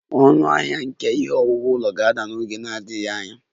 Ọnụahịa nke ihe owuwu ụlọ ga-ada n'oge na-adịghị anya